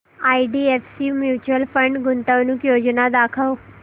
IDFC mutual fund गुंतवणूक योजना दाखव